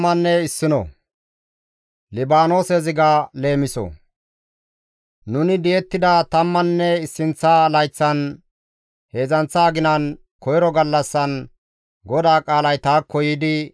Nuni di7ettida tammanne issinththa layththan, heedzdzanththa aginan, koyro gallassan GODAA qaalay taakko yiidi,